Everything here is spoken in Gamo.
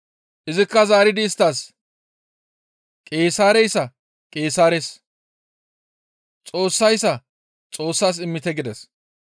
Izikka zaaridi isttas, «Qeesaareyssa Qeesaares, Xoossayssa Xoossas immite» gides.